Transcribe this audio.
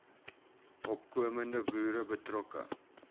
opkomende boere betrokke